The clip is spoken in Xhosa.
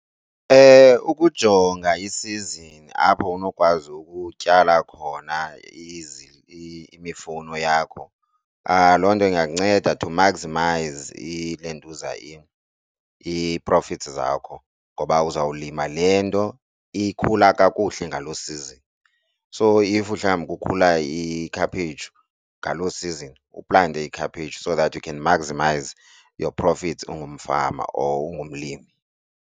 Ukujonga isizini apho unokwazi ukutyala khona imifuno yakho loo nto ingakunceda to maximize iilentuza into i-profits zakho ngoba uzawulima le nto ikhula kakuhle ngalo season. So if mhlawumbi kukhula ikhaphetshu ngalo season uplante ikhaphetshu, so that you can maximize your profits ungumfama or ungumlimi.